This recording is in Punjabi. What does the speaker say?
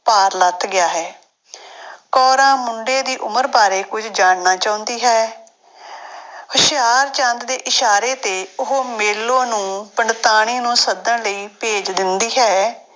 ਭਾਰ ਲੱਥ ਗਿਆ ਹੈ ਕੋਰਾਂ ਮੁੰਡੇ ਦੀ ਉਮਰ ਬਾਰੇ ਕੁੱਝ ਜਾਣਨਾ ਚਾਹੁੰਦੀ ਹੈ ਹੁਸ਼ਿਆਰਚੰਦ ਦੇ ਇਸ਼ਾਰੇ ਤੇ ਉਹ ਮੇਲੋ ਨੂੰ ਪੰਡਤਾਣੀ ਨੂੰ ਸੱਦਣ ਲਈ ਭੇਜ ਦਿੰਦੀ ਹੈ।